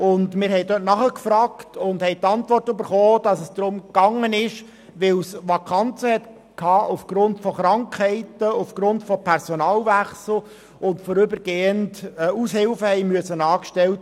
Auf unsere Nachfrage hin haben wir die Antwort erhalten, dass vorübergehend Aushilfen angestellt werden mussten, weil es aufgrund von Krankheiten und Personalwechseln zu Vakanzen gekommen ist.